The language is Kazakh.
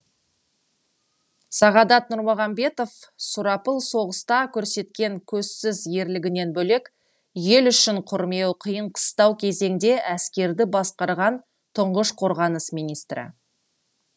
сағадат нұрмағанбетов сұрапыл соғыста көрсеткен көзсіз ерлігінен бөлек ел үшін күрмеуі қиын қыстау кезеңде әскерді басқарған тұңғыш қорғаныс министрі